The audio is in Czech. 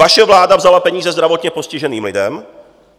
Vaše vláda vzala peníze zdravotně postiženým lidem.